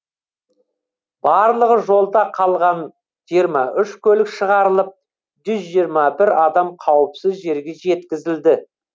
барлығы жолда қалған жиырма үш көлік шығарылып жүз жиырма бір адам қауіпсіз жерге жеткізілді